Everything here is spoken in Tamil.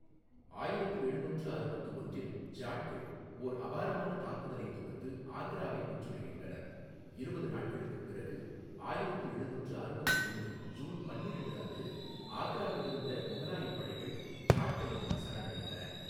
ஆயிரத்து எழுநூற்று அறுபத்து ஒன்றில் ஜாட்கள் ஓர் அபாரமான தாக்குதலைத் தொடுத்து ஆக்ராவை முற்றுகையிட்டனர், இருபது நாட்களுக்குப் பிறகு ஆயிரத்து எழுநூற்று அறுபத்து ஒன்று ஜூன் பன்னிரண்டு அன்று ஆக்ராவில் இருந்த முகலாயப் படைகள் ஜாட்களிடம் சரணடைந்தன.